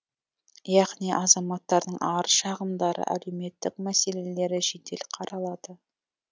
яғни азаматтардың арыз шағымдары әлеуметтік мәселелері жедел қаралады